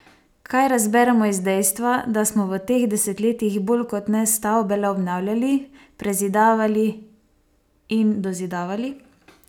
Kaj razberemo iz dejstva, da smo v teh desetletjih bolj kot ne stavbe le obnavljali, prezidavali in dozidavali?